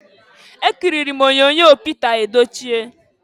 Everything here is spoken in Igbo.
Ekiriri m onyoonyo Pịta Edochie.